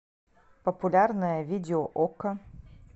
популярное видео окко